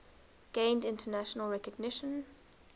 gained international recognition